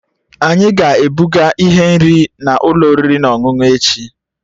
Anyị ga-ebuga ihe nri n'ụlọ oriri na ọṅụṅụ echi